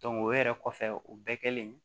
o yɛrɛ kɔfɛ o bɛɛ kɛlen